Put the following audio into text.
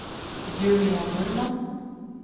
Julia Normann